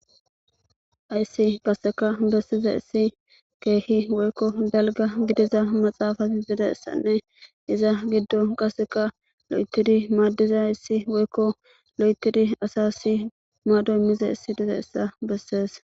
Hayssi qaseka bessiza issi keehi woykko dalga gidiza maxaafazi zidassanne iza giddo qaseka lo7ekidi maaddiza ayssi woykko lo7ekidi asa si maadoy mize issi diza issa bessees